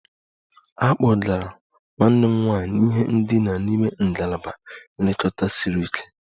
A kpọgara nwanne m nwanyị n'ihe ndina n'ime ngalaba nlekọta siri ike